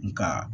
Nga